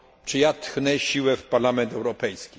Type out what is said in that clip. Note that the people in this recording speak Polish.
Czy ja tchnę siłę w Parlament Europejski?